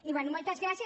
i bé moltes gràcies